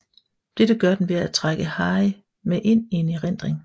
Dette gør den ved at trække Harry med ind i en erindring